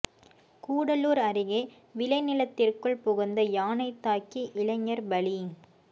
கூடலூர் அருகே விளை நிலத்திற்குள் புகுந்த யானை தாக்கி இளைஞர் பலி